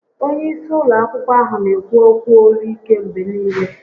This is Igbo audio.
Onye isi ụlọ akwụkwọ ahụ n'ekwu ókwú olu ike mgbe niile